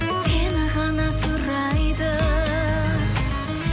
сені ғана сұрайды